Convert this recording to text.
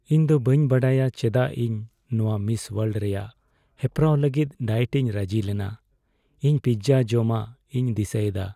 ᱤᱧ ᱫᱚ ᱵᱟᱹᱧ ᱵᱟᱰᱟᱭᱟ ᱪᱮᱫᱟᱜ ᱤᱧ ᱱᱚᱶᱟ ᱢᱤᱥ ᱳᱣᱟᱨᱞᱰ ᱨᱮᱭᱟᱜ ᱦᱮᱯᱨᱟᱣ ᱞᱟᱹᱜᱤᱫ ᱰᱟᱭᱮᱴ ᱤᱧ ᱨᱟᱹᱡᱤ ᱞᱮᱱᱟ ᱾ ᱤᱧ ᱯᱤᱡᱡᱟ ᱡᱚᱢᱟᱜ ᱤᱧ ᱫᱤᱥᱟᱹᱭᱮᱫᱟ !